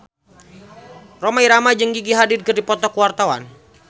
Rhoma Irama jeung Gigi Hadid keur dipoto ku wartawan